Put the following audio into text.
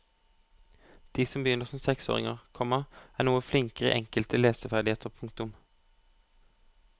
De som begynner som seksåringer, komma er noe flinkere i enkelte leseferdigheter. punktum